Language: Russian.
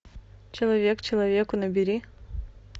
человек человеку набери